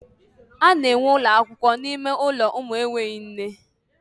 A na enwee ụlọakwụkwọ n'ime ụlọ ụmụ enweghị nne.